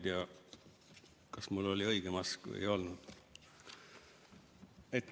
Ma ei tea, kas mul oli õige mask ees või ei olnud.